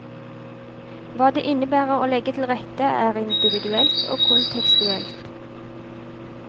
Hva det innebærer å legge til rette, er individuelt og kontekstuelt.